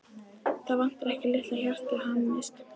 Það vantar ekki að litla hjartað hamist.